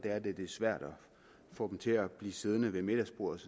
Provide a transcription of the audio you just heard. at det er svært at få dem til at blive siddende ved middagsbordet